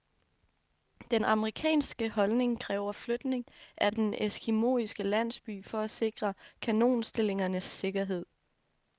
Den amerikanske holdning kræver flytning af den eskimoiske landsby for at sikre kanonstillingernes sikkerhed.